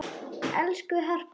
Elsku Harpa okkar.